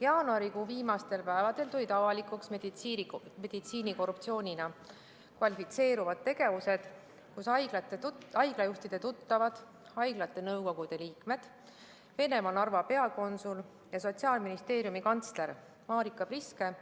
Jaanuarikuu viimastel päevadel tulid avalikuks meditsiinikorruptsioonina kvalifitseeruvad tegevused: haiglajuhtide tuttavad, haiglate nõukogude liikmed, Venemaa Narva peakonsul ja Sotsiaalministeeriumi kantsler Marika Priske